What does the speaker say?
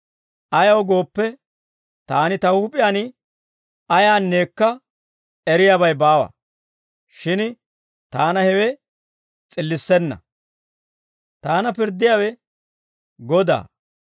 Ayaw gooppe, taani ta huup'iyaan ayaanneekka eriyaabay baawa; shin taana hewe s'illissenna. Taana pirddiyaawe Godaa.